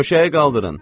Döşəyi qaldırın.